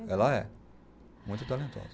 Ela é. Muito talentosa.